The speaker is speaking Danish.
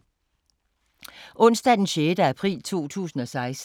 Onsdag d. 6. april 2016